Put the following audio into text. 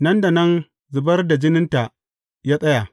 Nan da nan, zubar da jininta ya tsaya.